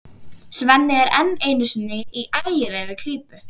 Svenni er enn einu sinni í ægilegri klípu.